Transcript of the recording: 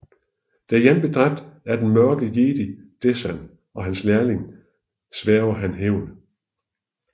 Da Jan bliver dræbt af den Mørke Jedi Desann og hans lærlig svæger han hævn